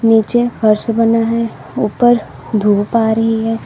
नीचे फर्श बना है ऊपर धूप आ रही है।